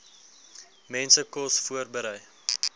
mense kos voorberei